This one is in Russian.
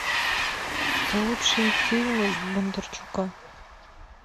лучшие фильмы бондарчука